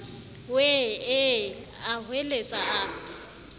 wee ee a hweletsa a